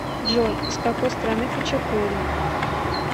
джой из какой страны хачапури